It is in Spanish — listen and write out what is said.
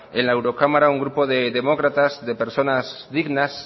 en la eurocámara un grupo de demócratas de personas dignas